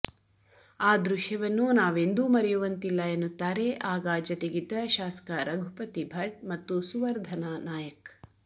ಆ ದೃಶ್ಯವನ್ನು ನಾವೆಂದೂ ಮರೆಯುವಂತಿಲ್ಲ ಎನ್ನುತ್ತಾರೆ ಆಗ ಜತೆಗಿದ್ದ ಶಾಸಕ ರಘುಪತಿ ಭಟ್ ಮತ್ತು ಸುವರ್ಧನ ನಾಯಕ್